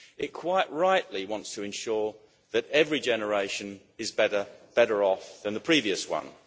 It quite rightly wants to ensure that every generation is better off than the previous one.